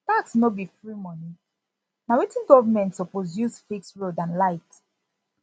tax no be free money na wetin government suppose use fix road and light